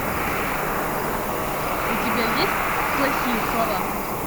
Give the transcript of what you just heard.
у тебя есть плохие слова